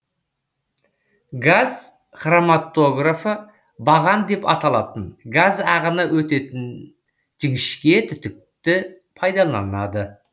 газ хроматографы баған деп аталатын газ ағыны өтетеін жіңішке түтікті пайдаланады